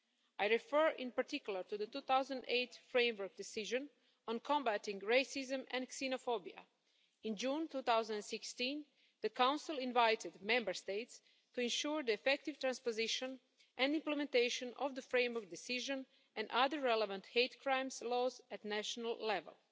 I refer in particular to the 2008 Framework Decision on combating racism and xenophobia. In June 2016, the Council invited Member States to ensure the effective transposition and implementation of the Framework Decision and other relevant hate crime laws at national level.